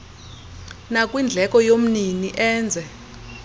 nakwindleko yomnini enze